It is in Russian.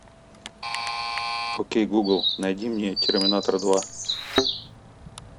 окей гугл найди мне терминатор два